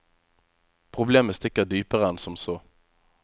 Problemet stikker dypere enn som så.